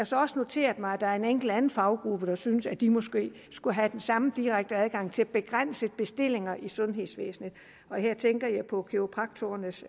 så også noteret mig at der er en enkel anden faggruppe der synes at de måske skulle have den samme direkte adgang til begrænsede bestillinger i sundhedsvæsenet her tænker jeg på kiropraktorernes